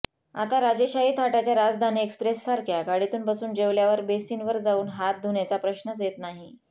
आता राजेशाही थाटाच्या राजधानी एक्सप्रेससारख्या गाडीत बसून जेवल्यावर बेसिनवर जाऊन हात धुण्याच्या प्रश्नच येत नाही